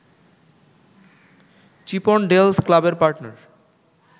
Chippendales ক্লাবের partner